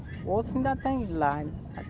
Outros ainda têm lá.